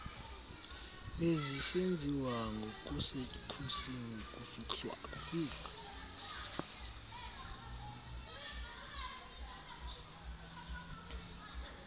bezisenziwa ngokusekhusini kufihlwa